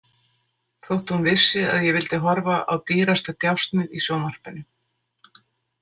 Þótt hún vissi að ég vildi horfa á Dýrasta djásnið í sjónvarpinu.